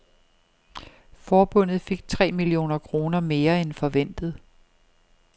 Forbundet fik tre millioner kroner mere end forventet.